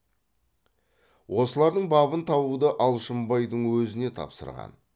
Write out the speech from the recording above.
осылардың бабын табуды алшынбайдың өзіне тапсырған